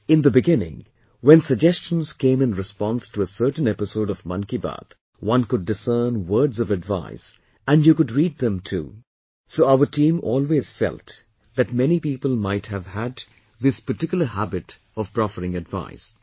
In the beginning, when suggestions came in response to a certain episode of 'Mann Ki Baat' , one could discern words of advice, and you could read them too, so our team always felt that many people might have had this particular habit of proffering advice